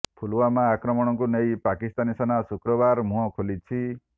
ପୁଲୱାମା ଆକ୍ରମଣକୁ ନେଇ ପାକିସ୍ତାନୀ ସେନା ଶୁକ୍ରବାର ମୁହଁ ଖୋଲିଛି